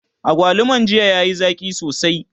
agwaluman jiya yayi Zaki sosai